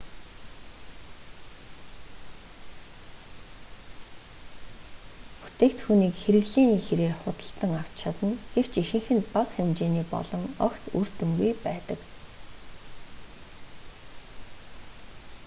бүтээгдхүүнг хэрэглээний хирээр худалдан авч чадна гэвч ихэнх нь бага хэмжээний болон огт үр дүнгүй байдаг